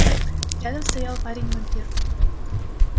рядом стоял парень-вампир